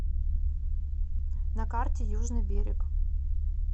на карте южный берег